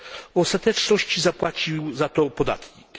W ostateczności zapłacił za to podatnik.